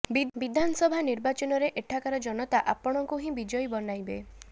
ବିଧାନସଭା ନିର୍ବାଚନରେ ଏଠାକାର ଜନତା ଆପଣଙ୍କୁ ହିଁ ବିଜୟୀ ବନାଇବେ